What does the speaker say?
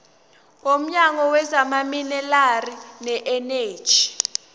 womnyango wezamaminerali neeneji